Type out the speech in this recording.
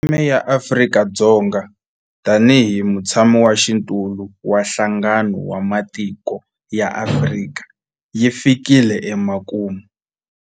Theme ya Afrika-Dzonga tanihi mutshamaxitulu wa Nhlangano wa Matiko ya Afrika yi fikile emakumu.